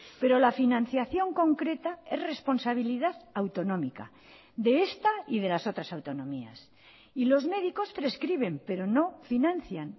pero la financiación concreta es responsabilidad autonómica de esta y de las otras autonomías y los médicos prescriben pero no financian